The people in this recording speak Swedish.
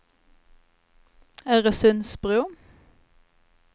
Örsundsbro